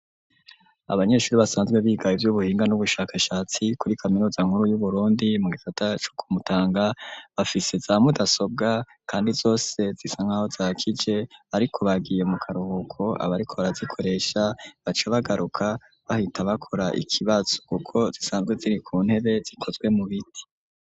Abanyeshuri basanzwe biga ivyubuhinga n'ubushakashatsi kuri kaminuza nkuru yu Burundi mu gisata co ku Mutanga bafise za mudasobwa kandi zose zisa nkaho zakije ariko bagiye mu karuhuko abariko bara zikoresha baca bagaruka bahita bakora ikibazo kuko zisanzwe ziri ku ntebe zikozwe mu biti.